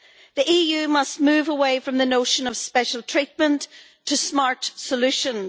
The EU must move away from the notion of special treatment to smart solutions.